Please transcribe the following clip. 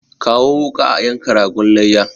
Kawo wuka a yanka ragon layya!